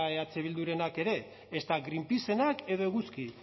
eh bildurenak ere ezta greenpeacenak edo eguzki